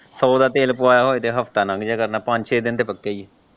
ਸੋ ਦਾ ਤੇਲ ਪੁਆਇਆ ਹੋਵੇ ਤੇ ਹਫਤਾ ਲੰਘ ਜੇ ਕਰਨਾ ਪੰਜ ਛੇ ਦਿਨ ਤੇ ਪੱਕੇ ਈ ਹੈ।